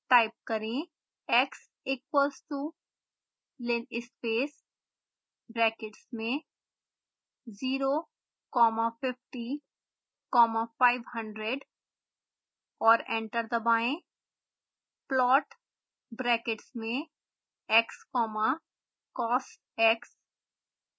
type करें